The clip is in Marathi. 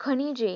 खनिजे